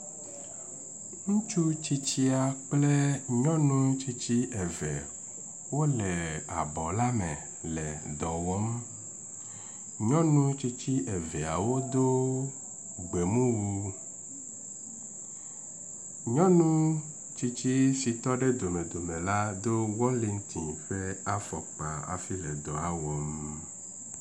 Ŋutsu tsitsia kple nyɔnu tsitsi eve wo le bɔ la me le dɔ wɔm. nyɔnu tsitsi eveawo do gbemuwu. Nyɔnu tsitsi si tɔ ɖe domedome la do welintin ƒe afɔkpa hafi le dɔ la wɔm.